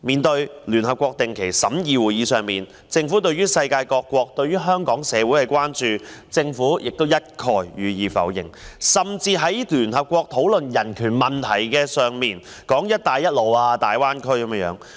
在聯合國的定期審議會議上，面對世界各國對香港社會的關注，政府一概否認，甚至在聯合國討論人權問題時，談論"一帶一路"及大灣區。